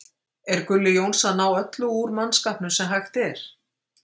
Er Gulli Jóns að ná öllu úr mannskapnum sem hægt er?